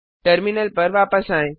terminal पर वापस आएं